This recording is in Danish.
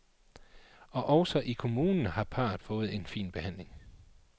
Og også i kommunen har parret fået en fin behandling.